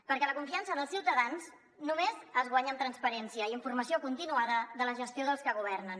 perquè la confiança dels ciutadans només es guanya amb transparència i informació continuada de la gestió dels que governen